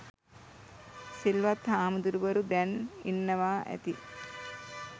සිල්වත් හාමුදුරුවරු දැන් ඉන්නවා ඇති